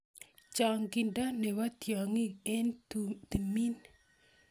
chongindo Nebo tiongik eng tumin